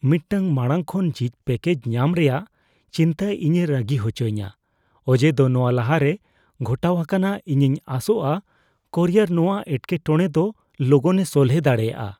ᱢᱤᱫᱴᱟᱝ ᱢᱟᱲᱟᱝ ᱠᱷᱚᱱ ᱡᱷᱤᱡ ᱯᱮᱠᱮᱡᱽ ᱧᱟᱢ ᱨᱮᱭᱟᱜ ᱪᱤᱱᱛᱟᱹ ᱤᱧᱮ ᱨᱟᱹᱜᱤ ᱦᱚᱪᱚᱧᱟ ᱚᱡᱮᱫᱚ ᱱᱚᱶᱟ ᱞᱟᱦᱟᱨᱮ ᱜᱷᱚᱴᱟᱣ ᱟᱠᱟᱱᱟ; ᱤᱧᱤᱧ ᱟᱸᱥᱚᱜᱼᱟ ᱠᱩᱨᱤᱭᱟᱨ ᱱᱚᱶᱟ ᱮᱴᱠᱮᱴᱚᱬᱮ ᱫᱚ ᱞᱚᱜᱚᱱᱮ ᱥᱚᱞᱦᱮ ᱫᱟᱲᱮᱭᱟᱜᱼᱟ ᱾